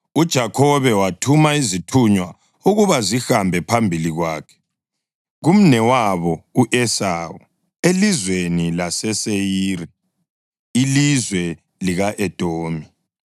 UJakhobe wathuma izithunywa ukuba zihambe phambili kwakhe kumnewabo u-Esawu elizweni laseSeyiri, ilizwe lika-Edomi.